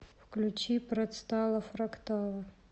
включи працтала фрактала